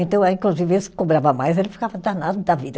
Então ah, inclusive, esse que cobrava mais, ele ficava danado da vida.